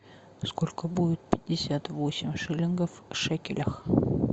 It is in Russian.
сколько будет пятьдесят восемь шиллингов в шекелях